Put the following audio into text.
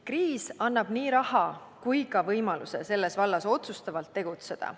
Kriis annab nii raha kui ka võimaluse selles vallas otsustavalt tegutseda.